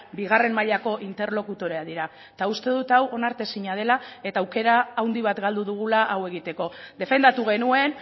bigarren mailako interlokutoreak dira eta uste dut hau onartezina dela eta aukera handi bat galdu dugula hau egiteko defendatu genuen